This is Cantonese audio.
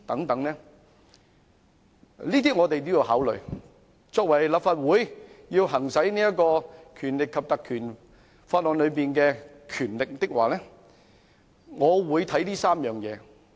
這些條件我們要考慮，立法會要行使《立法會條例》賦予的權力的話，我會考慮以上3方面。